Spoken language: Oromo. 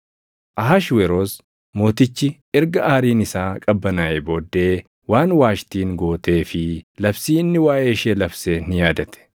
Ahashweroos Mootichi erga aariin isaa qabbanaaʼee booddee waan Waashtiin gootee fi labsii inni waaʼee ishee labse ni yaadate.